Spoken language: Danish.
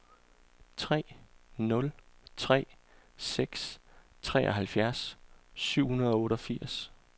tre nul tre seks treoghalvtreds syv hundrede og otteogfirs